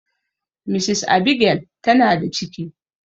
Mrs Abigail ta na da ciki